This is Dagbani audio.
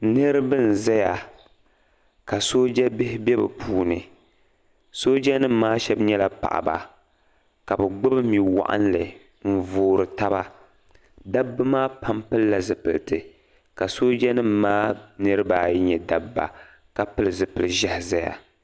Niriba n zaya ka sooja bihi bɛ be puuni soojanima shɛba nyɛla paɣ'ba ka bɛ gbubi mi'waɣinli n voori taba dabba maa pam pilila zupiliti ka soojanima niriba ayi nyɛ dabba ka pili zupil'ʒehi ʒiya